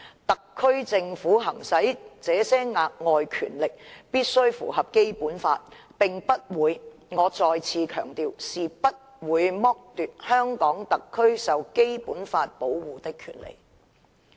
特區政府行使的這些額外權力，必須符合《基本法》，並且不會，我再次強調，不會剝奪香港特區受《基本法》保護的權利。